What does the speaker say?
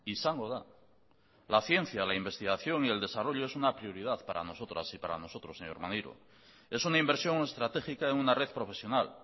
izango da la ciencia la investigación y el desarrollo es una prioridad para nosotras y para nosotros es una inversión estratégica en una red profesional